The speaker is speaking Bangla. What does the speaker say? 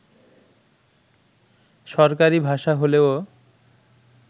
সরকারি ভাষা হলেও